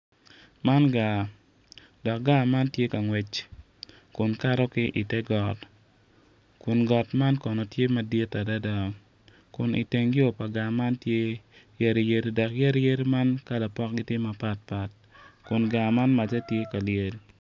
Man gaa, dok gaa man tye ka ngwec kun kato ki ite got kun man kono tye madit adada kun itneg yo pa gaa man tye yadi yadi dok yadi yadi man kala pokgi tye mapatpat kun gaa man macce tye ka lyel